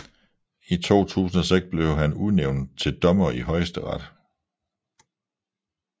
I 2006 blev han udnævnt til dommer i Højesteret